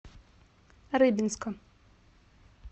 рыбинска